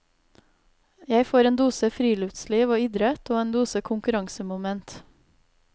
Jeg får en dose friluftsliv og idrett og en dose konkurransemoment.